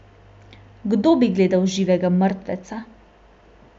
Kdo bi gledal živega mrtveca!